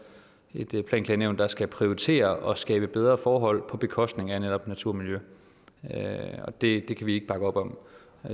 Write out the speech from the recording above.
et planklagenævn der skal prioritere og skabe bedre forhold på bekostning af netop natur og miljø og det kan vi ikke bakke op om